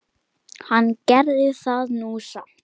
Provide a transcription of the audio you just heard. Hann gerði það nú samt.